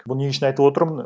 бұны не үшін айтывотырмын